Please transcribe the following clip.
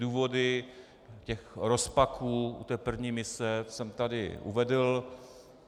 Důvody těch rozpaků u té první mise jsem tady uvedl.